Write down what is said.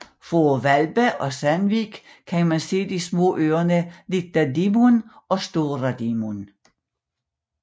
Fra Hvalba og Sandvík kan man se de små øer Lítla Dímun og Stóra Dímun